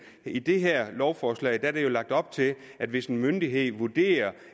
i det her lovforslag er der jo lagt op til at hvis en myndighed vurderer